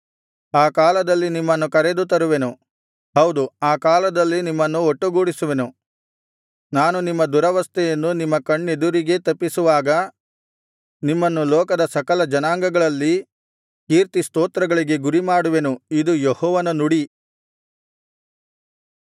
ಆ ಕಾಲದಲ್ಲಿ ನಿಮ್ಮನ್ನು ಕರೆದು ತರುವೆನು ಹೌದು ಆ ಕಾಲದಲ್ಲಿ ನಿಮ್ಮನ್ನು ಒಟ್ಟುಗೂಡಿಸುವೆನು ನಾನು ನಿಮ್ಮ ದುರವಸ್ಥೆಯನ್ನು ನಿಮ್ಮ ಕಣ್ಣೆದುರಿಗೇ ತಪ್ಪಿಸುವಾಗ ನಿಮ್ಮನ್ನು ಲೋಕದ ಸಕಲ ಜನಾಂಗಗಳಲ್ಲಿ ಕೀರ್ತಿ ಸ್ತೋತ್ರಗಳಿಗೆ ಗುರಿಮಾಡುವೆನು ಇದು ಯೆಹೋವನ ನುಡಿ